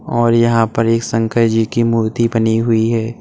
और यहां पर एक शंकर जी की मूर्ति बनी हुई है।